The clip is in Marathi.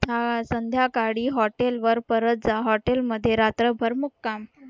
अं संध्याकाळी हॉटेलवर परत जा हॉटेलमध्ये रात्रभर मुक्काम